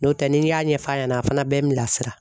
N'o tɛ n'i y'a ɲɛf'a ɲɛna a fana bɛɛ n bilasira.